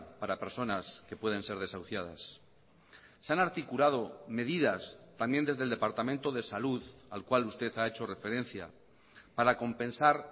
para personas que pueden ser desahuciadas se han articulado medidas también desde el departamento de salud al cual usted ha hecho referencia para compensar